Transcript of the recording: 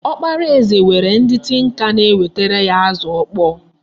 Ọkpara eze nwere ndị tinka na-ewetara ya azụ ọkpọọ.